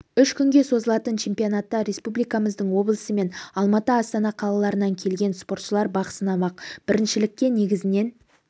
үш күнге созылатын чемпионатта республикамыздың облысы мен алматы астана қалаларынан келген спортшылар бақ сынамақ біріншілікке негізінен